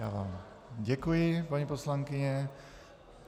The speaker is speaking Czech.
Já vám děkuji, paní poslankyně.